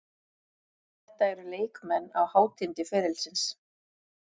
Þetta eru leikmenn á hátindi ferilsins.